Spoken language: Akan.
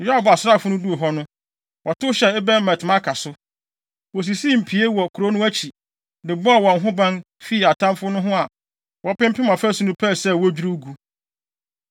Yoab asraafo no duu hɔ no, wɔtow hyɛɛ Abel-Bet-Maaka so. Wosisii mpie wɔ kurow no akyi, de bɔɔ wɔn ho ban fii atamfo ho na wɔpempem afasu no, pɛɛ sɛ wodwiriw gu.